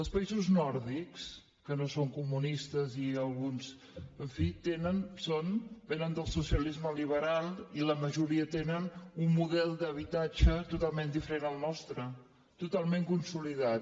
els països nòrdics que no són comunistes i alguns en fi vénen del socialisme liberal i la majoria tenen un model d’habitatge totalment diferent al nostre totalment consolidat